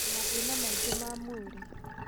na mathĩna mangĩ ma mwĩrĩ.